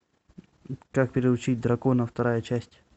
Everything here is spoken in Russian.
как приручить дракона вторая часть